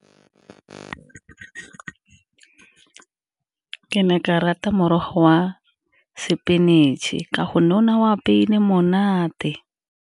Ke ne ke rata morogo wa spinach-e, ka gonne o ne a o apeile monate.